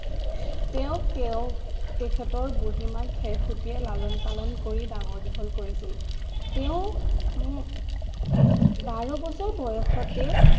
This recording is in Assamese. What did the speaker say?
তেওঁ তেওঁৰ তেখেতৰ বুড়িমা খেৰখুতীয়ে লালন পালন কৰি ডাঙৰ দীঘল কৰিছিল তেওঁ উম বাৰ বছৰ বয়সতে